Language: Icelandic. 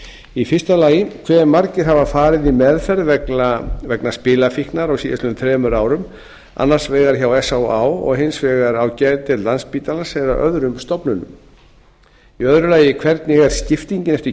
heilbrigðisráðherra fyrstu hve margir hafa farið í meðferð vegna spilafíknar á síðastliðnum þremur árum annars vegar hjá s á á og hins vegar á geðdeild landspítalans eða öðrum stofnunum öðrum hvernig er skiptingin eftir